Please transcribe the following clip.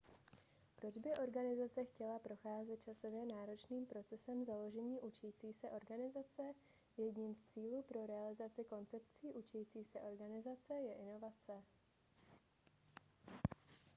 proč by organizace chtěla procházet časově náročným procesem založení učící se organizace jedním z cílů pro realizaci koncepcí učící se organizace je inovace